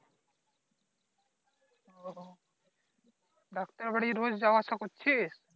আহ doctor বাড়ি রোজ যাও আসা করছিস?